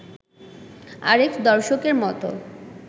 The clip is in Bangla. আরেক দর্শকের মত